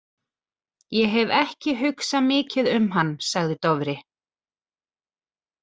Ég hef ekki hugsað mikið um hann, sagði Dofri.